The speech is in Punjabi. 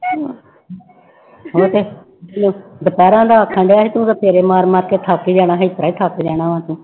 ਉਹ ਤੇ ਦੁਪਹਿਰ ਦਾ ਆਖਣਡਿਆ ਸੀ ਤੂੰ ਤਾਂ ਫੇਰੇ ਮਾਰ ਮਾਰ ਕੇ ਥੱਕ ਹੀ ਜਾਣਾ, ਇਸ ਤਰ੍ਹਾਂ ਹੀ ਥੱਕ ਜਾਣਾ ਵਾਂ ਤੂੰ।